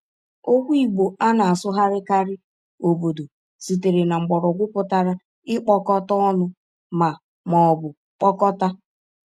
Okwu Igbo a na-asụgharịkarị “obodo” sitere na mgbọrọgwụ pụtara “ịkpọkọta ọnụ” ma ma ọ bụ “kpọkọta.”